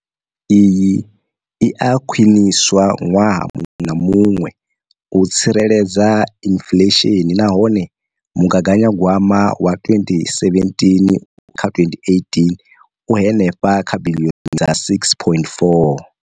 Iyi i a khwiniswa ṅwaha muṅwe na muṅwe u tsireledza inflesheni nahone mugaganyagwama wa 2017,18 u henefha kha biḽioni dza R6.4.